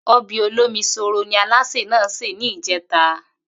O̩bè̩ olómi-s̩óòrò ni alásè náà sè ní ìjé̩ta